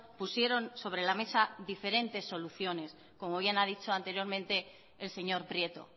pusieron sobre la mesa diferentes soluciones como bien he dicho anteriormente el señor prieto